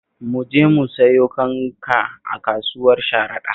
Mu je mu sayo kanka a kasuwar Sharaɗa